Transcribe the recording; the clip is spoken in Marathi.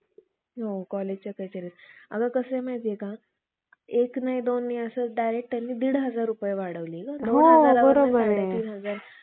डौल घालून. वर कांतीज्ञान सांगण्याचा भाव दाखवून. आतून भागवतासारख्या ग्रंथातील, खोट्यानाट्या गोष्टींची पुराणे अज्ञानी क्षुद्रास